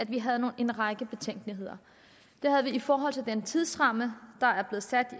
vi havde en række betænkeligheder det havde vi i forhold til den tidsramme